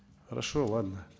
хорошо ладно